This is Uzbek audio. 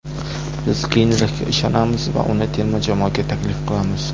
Biz Geynrixga ishonamiz va uni terma jamoaga taklif qilamiz.